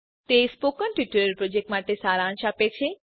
તે spoken tutorial પ્રોજેક્ટનો સારાંશ આપે છે